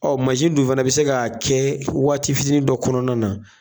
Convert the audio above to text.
Ɔ mansin dun fana bɛ se ka kɛ waati fitinin dɔ kɔnɔna na.